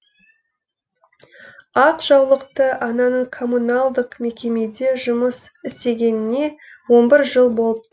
ақ жаулықты ананың коммуналдық мекемеде жұмыс істегеніне он бір жыл болып